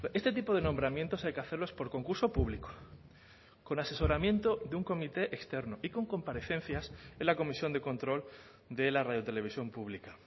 este tipo de nombramientos hay que hacerlos por concurso público con asesoramiento de un comité externo y con comparecencias en la comisión de control de la radio televisión pública